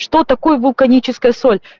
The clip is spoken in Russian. что такое вулканическая соль